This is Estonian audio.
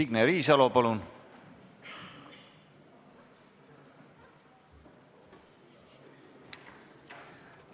Signe Riisalo, palun!